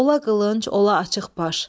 Ola qılınc, ola açıq baş.